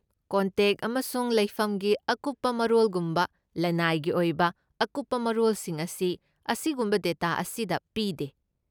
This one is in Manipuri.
ꯀꯣꯟꯇꯦꯛ ꯑꯃꯁꯨꯡ ꯂꯩꯐꯝꯒꯤ ꯑꯀꯨꯞꯄ ꯃꯔꯣꯜꯒꯨꯝꯕ ꯂꯅꯥꯏꯒꯤ ꯑꯣꯏꯕ ꯑꯀꯨꯞꯄ ꯃꯔꯣꯜꯁꯤꯡ ꯑꯁꯤ, ꯑꯁꯤꯒꯨꯝꯕ ꯗꯦꯇꯥ ꯑꯁꯤꯗ ꯄꯤꯗꯦ꯫